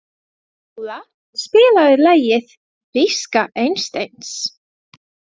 Njóla, spilaðu lagið „Viska Einsteins“.